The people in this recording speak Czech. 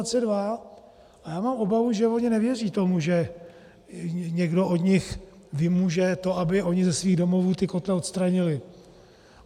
A já mám obavu, že oni nevěří tomu, že někdo od nich vymůže to, aby oni ze svých domovů ty kotle odstranili.